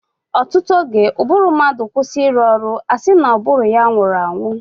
ọtụtụ oge, ụbụrụ mmadụ kwụsị ịrụ ọrụ, a sị na ụbụrụ ya nwụrụ anwụ.